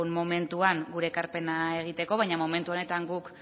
momentuan gure ekarpena egiteko baina momentu honetan guk